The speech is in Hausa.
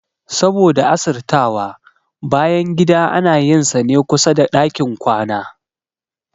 Saboda asirtawa, bayangida ana yin sane kusada ɗakin kwana